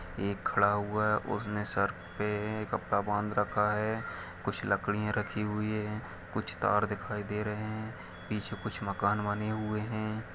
एक खड़ा हुआ है उसने सर पे कपड़ा बांध रखा है कुछ लकड़ियाँ रखी हुई है कुछ तार दिखाई दे रहे है पीछे कुछ मकान बने हुए है।